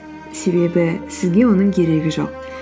себебі сізге оның керегі жоқ